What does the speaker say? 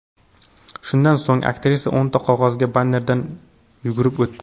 Shundan so‘ng aktrisa o‘nta qog‘oz bannerdan yugurib o‘tdi.